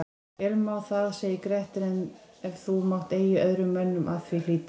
Vel má það segir Grettir, ef þú mátt eigi öðrum mönnum að því hlíta